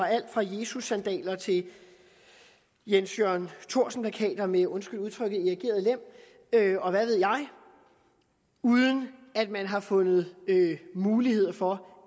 alt fra jesussandaler til jens jørgen thorsen plakater med undskyld udtrykket erigeret lem og hvad ved jeg uden at man har fundet mulighed for